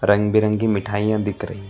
रंग बिरंगी मिठाईयां दिख रही है।